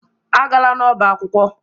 Agala n'ọba akwụkwọ.